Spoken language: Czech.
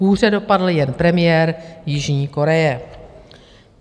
Hůře dopadl jen premiér Jižní Koreje.